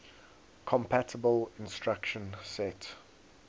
compatible instruction set